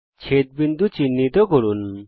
ছেদবিন্দু চিহ্নিত করুন